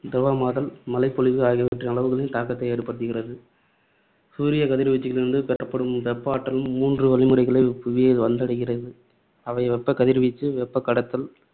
திரவமாதல், மழைப்பொழிவு ஆகியவற்றின் அளவுகளில் தாக்கத்தை ஏற்படுத்துகிறது. சூரிய கதிர்வீச்சுகளிலிருந்து பெறப்படும் வெப்ப ஆற்றல் மூன்று வழிமுறைகளில் புவியை வந்தடைகிறது. அவை வெப்ப கதிர் வீச்சு, வெப்பக் கடத்தல்